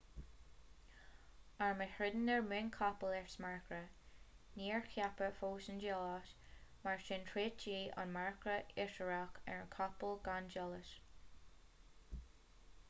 arm a throideann ar muin capaill is ea marcra níor ceapadh fós an diallait mar sin throidtí an marcra aisiriach ar a gcapaill gan diallait